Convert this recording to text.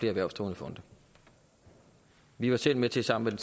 erhvervsdrivende fonde vi var selv med til sammen